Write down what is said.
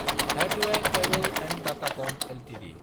हाथोआय cable & Datacom Ltd